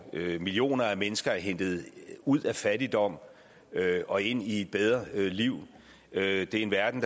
millioner af mennesker er hentet ud af fattigdom og ind i et bedre liv det er en verden